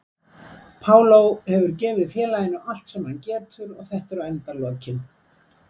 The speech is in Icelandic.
Paulo hefur gefið félaginu allt sem hann getur og þetta eru endalokin.